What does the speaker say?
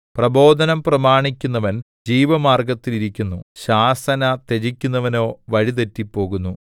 പ്രബോധനം പ്രമാണിക്കുന്നവൻ ജീവമാർഗ്ഗത്തിൽ ഇരിക്കുന്നു ശാസന ത്യജിക്കുന്നവനോ വഴി തെറ്റിപ്പോകുന്നു